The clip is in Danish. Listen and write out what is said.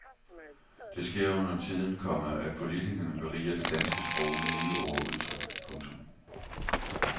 Det sker undertiden, komma at politikerne beriger det danske sprog med nye ord og udtryk. punktum